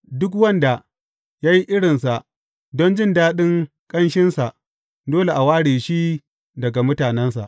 Duk wanda ya yi irinsa don jin daɗin ƙanshinsa, dole a ware shi daga mutanensa.